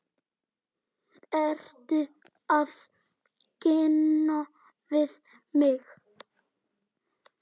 Ertu að reyna við mig?